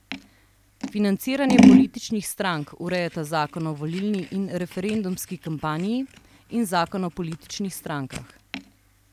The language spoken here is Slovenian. Financiranje političnih strank urejata zakon o volilni in referendumski kampanji in zakon o političnih strankah.